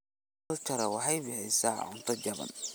Aquaculture waxay bixisaa cunto jaban.